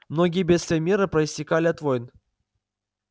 многие бедствия мира проистекали от войн